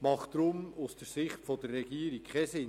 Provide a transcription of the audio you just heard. macht deswegen aus Sicht der Regierung keinen Sinn.